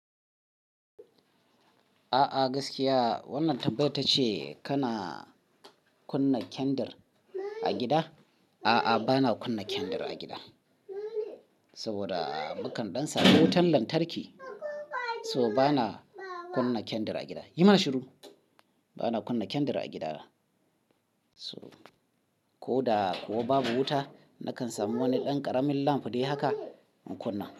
A'a gaskiya wannan tambayar tace kana kunna kyandir a gida? A'a, bana kunna kyandir a gida saboda mukan dan samu wutan lantarki, so bana kunna kyandir a gida. Yi mana shiru bana kunna kyandir a gida. So ko da ko babu wuta nakan samu wani ɗan ƙaramin lamp dai haka in kunna.